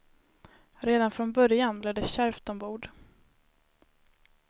Redan från början blev det kärvt ombord.